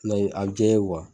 Nɔ a bi ja o ye kuwa